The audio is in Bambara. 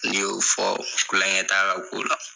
N'i y'o fɔ tulon kɛ t'a ka ko la.